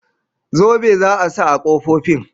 Zobe za a sa ƙofofin